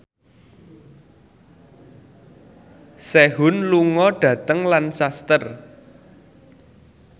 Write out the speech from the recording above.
Sehun lunga dhateng Lancaster